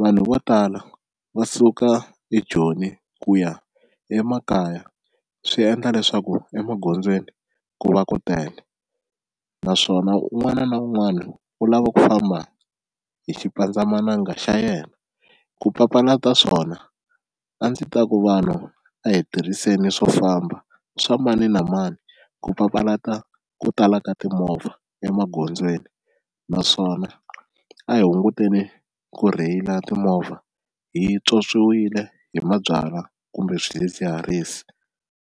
vanhu vo tala va suka eJoni ku ya emakaya swi endla leswaku emagondzweni ku va ku tele naswona un'wana na un'wana u lava ku famba hi xipandzamananga xa yena ku papalata swona, a ndzi ta ku vanhu a hi tirhiseni swo famba swa mani na mani ku papalata ku tala ka timovha emagondzweni naswona a hi hunguteni ku rheyila timovha hi tswotswile hi mabyalwa kumbe swidzidziharisi.